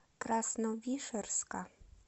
красновишерска